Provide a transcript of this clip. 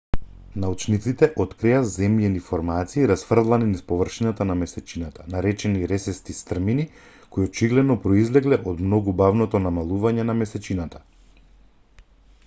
научниците открија земјени формации расфрлани низ површината на месечината наречени ресести стрмини кои очигледно произлегле од многу бавното намалување на месечината